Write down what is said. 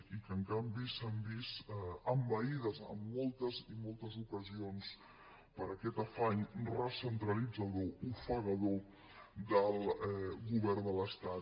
i que en canvi s’han vist envaïdes en moltes i moltes ocasions per aquest afany recentralitzador ofegador del govern de l’estat